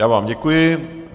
Já vám děkuji.